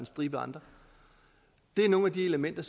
stribe andre det er nogle af de elementer